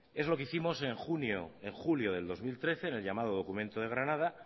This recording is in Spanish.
es lo que hicimos en junio en julio de dos mil trece en el llamado documento de granada